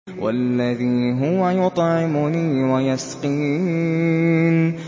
وَالَّذِي هُوَ يُطْعِمُنِي وَيَسْقِينِ